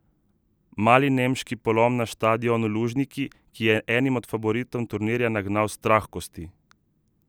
Mali nemški polom na štadionu Lužniki, ki je enim od favoritov turnirja nagnal strah v kosti!